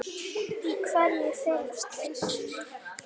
Í hverju felast þeir?